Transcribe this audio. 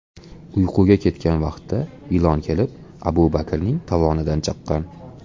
uyquga ketgan vaqtda ilon kelib, Abu Bakrning tovonidan chaqqan.